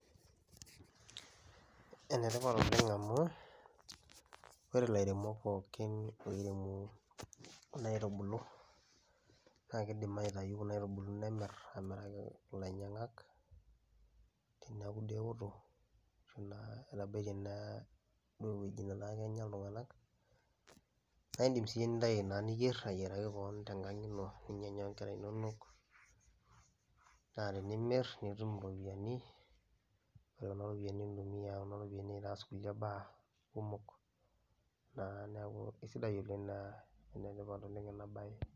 Ene tipat oleng' amu ore ilairemok pookin eimu kuna aitubulu naake iindim aitayu kuna aitubulu nemirr aamiraki ilainyang'ak neeku duo eoto, ashu naa etabaitie naa ewoji netaa kenya iltung'anak, naa iindim siyie nintayu naa niyer ayiaraki koon tenkang' ino, ninyanya o nkera inonok naa tenimir nitum iropiani. Ore kuna ropiani nintumia kuna ropiani aas kulie baa kumok naa neeku kesidai oleng' naa ene tipat oleng' ena baye.